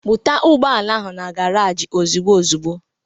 Buta ụgbọala ahụ na garaji ozigbo ozigbo!